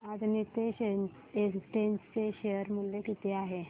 आज नीतेश एस्टेट्स चे शेअर मूल्य किती आहे सांगा